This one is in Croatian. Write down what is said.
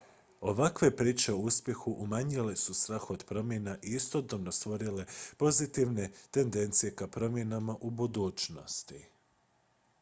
ovakve priče o uspjehu umanjile su strah od promjena i istodobno stvorile pozitivne tendencije ka promjenama u budućnosti